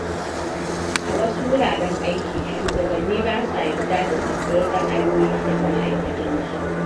A wasu wuraren aiki, shugabanni ba sa yarda da sabbin ra’ayoyi daga ma’aikatansu.